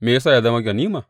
Me ya sa ya zama ganima?